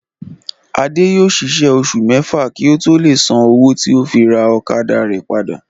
Adé yóò ṣiṣẹ́ oṣù mẹ́fà kí ó tó lè san owó tí ó fi ra ọ̀kadà rẹ̀ padà